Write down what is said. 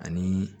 Ani